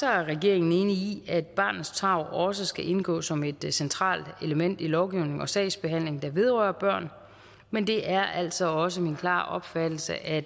er regeringen enig i at barnets tarv også skal indgå som et centralt element i lovgivningen og sagsbehandlingen der vedrører børn men det er altså også min klare opfattelse at